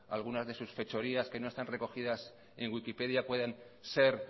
alguna de sus fechorías que no está recogidas en wikipedia pueden ser